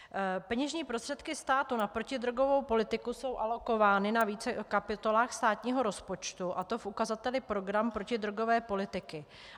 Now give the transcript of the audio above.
Peněžní prostředky státu na protidrogovou politiku jsou alokovány na více kapitolách státního rozpočtu, a to v ukazateli program protidrogové politiky.